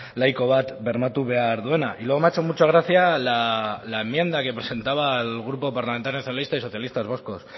laiko bat bermatu behar duena y luego me ha hecho mucha gracia la enmienda que presentaba el grupo parlamentario nacionalistas y socialistas vascos